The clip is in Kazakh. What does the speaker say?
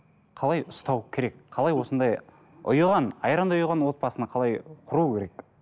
қалай ұстау керек қалай осындай ұйыған айрандай ұйыған отбасын қалай құру керек